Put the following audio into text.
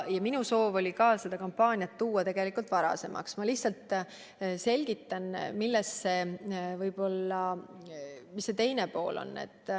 Minu soov oli tuua see kampaania varasemaks, aga ma selgitan, mis asja teine pool on.